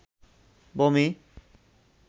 বমি